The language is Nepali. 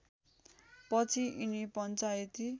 पछि यिनी पञ्चायती